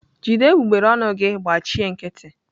jide egbugbere ọnụ gị gbachi nkịtị!